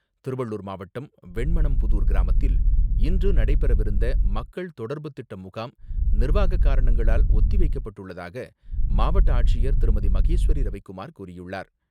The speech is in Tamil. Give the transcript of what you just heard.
திருவள்ளூர் மாவட்டம் வெண்மனம்புதுார் கிராமத்தில் இன்று நடைபெறவிருந்த மக்கள் தொடர்புத்திட்ட முகாம் நிர்வாகக் காரணங்களால் ஒத்தி வைக்கப்பட்டுள்ளதாக மாவட்ட ஆட்சியர் திருமதி.மகேஸ்வரி ரவிகுமார் கூறியுள்ளார்.